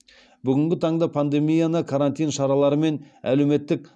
бүгінгі таңда пандемияны карантин шаралары мен әлеуметтік